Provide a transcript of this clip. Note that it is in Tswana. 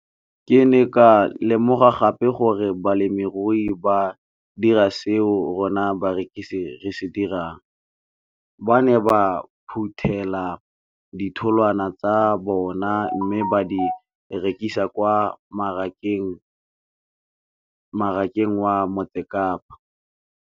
Ke ne ka lemoga gape gore balemirui ba dira seo rona barekisi re se dirang, ba ne ba phuthela ditholwana tsa bona mme ba di rekisa kwa marakeng wa Motsekapa.